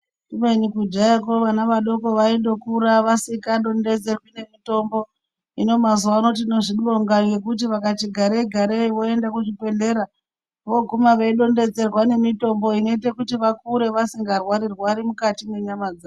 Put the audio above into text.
Kubeni kudhayako vana vadoko vaindokura vasikadondedzerwi nemitombo. Hino mazuva ano tinozvibonga ngekuti vakati garei-garei voende kuzvibhedhlera vooguma veidondedzerwa nemitombo inoite kuti vakure vasingarwari-rwari mukati mwenyama dzavo.